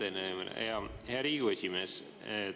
Aitäh teile, hea Riigikogu esimees!